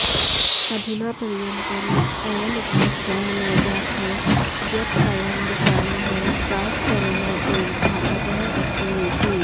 अधुना पर्यन्तम् अयं स्पष्टः न जातः यत् अयं विषाणुः सार्सकोरोना इव घातकः अस्ति वेति